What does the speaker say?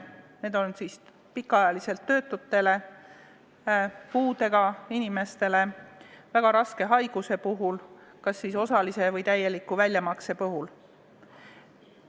Mõeldud on pikaajalisi töötuid, puudega inimesi, väga raske haigusega inimesi, kellele võiks raha välja maksta kas osaliselt või täielikult.